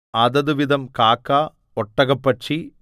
അതത് വിധം കാക്ക ഒട്ടകപ്പക്ഷി